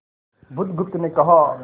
बुधगुप्त ने कहा